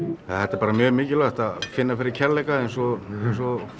bara mjög mikilvægt að finna fyrir kærleika eins og eins og